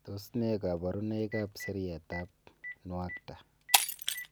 Tos nee koborunoikab seriatab nuakta?